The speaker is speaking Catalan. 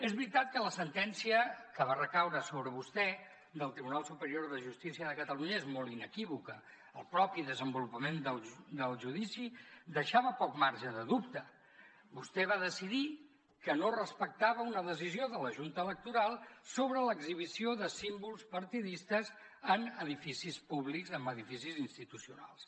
és veritat que la sentència que va recaure sobre vostè del tribunal superior de justícia de catalunya és molt inequívoca el mateix desenvolupament del judici deixava poc marge de dubte vostè va decidir que no respectava una decisió de la junta electoral sobre l’exhibició de símbols partidistes en edificis públics en edificis institucionals